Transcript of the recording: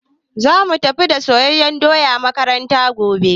Zamu tafi da soyayyen doya makaranta gobe